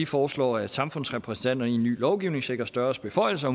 foreslår at samfundsrepræsentanter i en ny lovgivning sikres større beføjelser